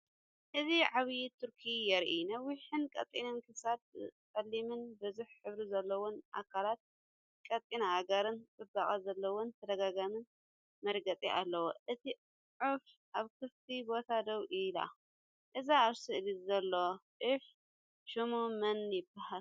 እዚ ዓባይ ቱርኪ የርኢ። ነዊሕን ቀጢንን ክሳድ፡ ጸሊምን ብዙሕ ሕብሪ ዘለዎን ኣካላት፡ ቀጢን ኣእጋርን ጽባቐ ዘለዎን ተደጋጋምን መርገጺ ኣለዎ። እታ ዑፍ ኣብ ክፉት ቦታ ደው ኢላ። እዚ ኣብ ስእሊ ዘሎ ዑፍ ሽሙ መን ይባሃል?